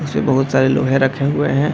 इसमें बहुत सारे लोहे रखे हुए हैं।